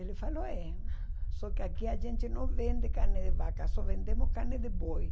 Ele falou, é. Só que aqui a gente não vende carne de vaca, só vendemos carne de boi.